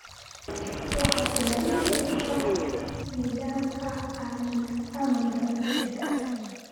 waxaad ilaalin doontaa nidaamka amniga guriga